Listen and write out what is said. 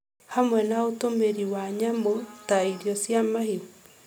hamwe na ũtũmĩri wa nyamũ ta irio cia mahiũ.